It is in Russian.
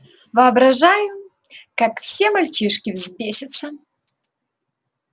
воображаю как все мальчишки взбесятся